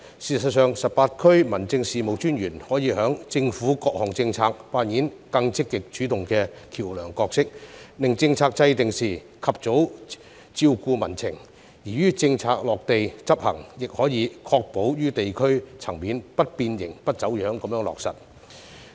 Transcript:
事實上 ，18 區民政事務專員可以在政府各項政策中扮演更積極主動的橋樑角色，令政策制訂時及早照顧民情，而於政策落地執行時，亦可以確保於地區層面不變形、不走樣地落實。